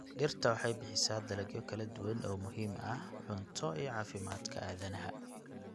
Dhirta waxay bixisaa dalagyo kala duwan oo muhiim ah cunto iyo caafimaadka aadanaha.